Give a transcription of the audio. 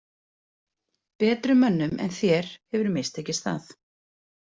Betri mönnum en þér hefur mistekist það.